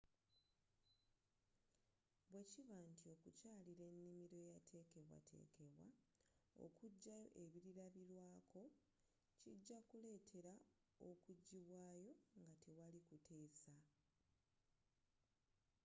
bwekiba nti okukyalira enimiro eyateekebwa teekebwa okujayo”ebilabirwaako” kijja kuleetera okujibwaayo nga tewali kuteesa